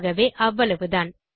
ஆகவே அவ்வளவுதான்